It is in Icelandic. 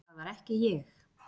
Það var ekki ég.